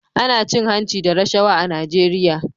Ana cin hanci da rashawa a Najeriya